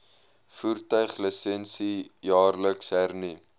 voertuiglisensie jaarliks hernu